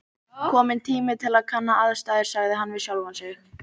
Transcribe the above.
Kominn tími til að kanna aðstæður sagði hann við sjálfan sig.